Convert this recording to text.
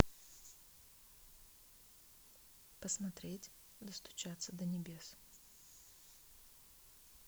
посмотреть достучаться до небес